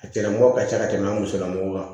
A tigilamɔgɔ ka ca ka tɛmɛ an musolamɔgɔw kan